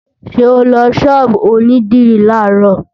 Ṣé o lọ ṣọ́ọ̀bù onídìrí làárọ̀?